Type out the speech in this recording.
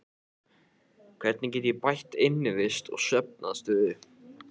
Hvernig get ég bætt innivist og svefnaðstöðu?